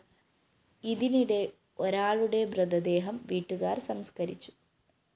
ഇതിനിടെ ഒരാളുടെ മൃതദേഹം വീട്ടുകാര്‍ സംസ്‌കരിച്ചു